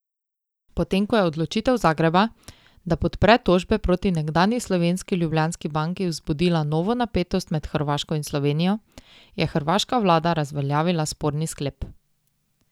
Potem ko je odločitev Zagreba, da podpre tožbe proti nekdanji slovenski Ljubljanski banki, vzbudila novo napetost med Hrvaško in Slovenijo, je hrvaška vlada razveljavila sporni sklep.